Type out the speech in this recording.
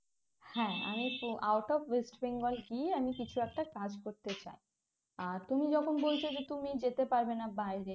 হ্যাঁ আমি তো out of west bengal গিয়ে আমি কিছু একটা কাজ করতে চাই আর তুমি যখন বলছো যে তুমি যেতে পারবেনা বাইরে